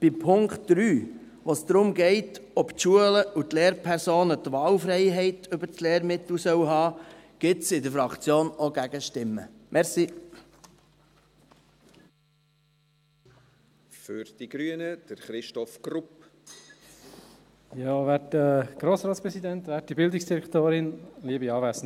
Bei Punkt 3, bei dem es darum geht, ob die Schulen und Lehrpersonen die Wahlfreiheit beim Lehrmittel haben sollen, gibt es in der Fraktion auch Gegenstimmen.